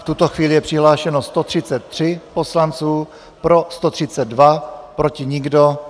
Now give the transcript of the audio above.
V tuto chvíli je přihlášeno 133 poslanců, pro 132, proti nikdo.